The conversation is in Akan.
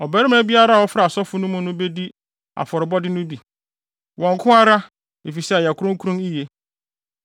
Ɔbarima biara a ɔfra asɔfo no mu no bedi afɔrebɔde no bi—wɔn nko ara—efisɛ ɛyɛ kronkron yiye.